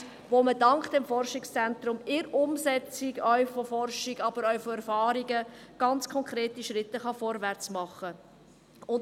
Mit diesen kann man dank des Forschungszentrums ganz konkrete Schritt vorwärtsmachen, in der Umsetzung von Forschung, aber auch von Erfahrungen.